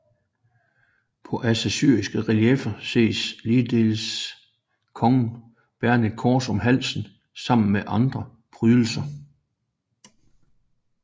På assyriske relieffer ses ligeledes kongen bærende et kors om halsen sammen med andre prydelser